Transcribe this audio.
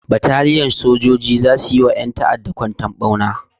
Bataliyan sojoji za su yi ma ƴan ta'adda kwantar ɓauna.